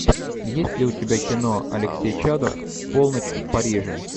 есть ли у тебя кино алексей чадов полночь в париже